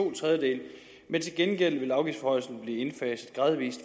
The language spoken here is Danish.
to tredjedele men til gengæld vil afgiftsforhøjelse gradvis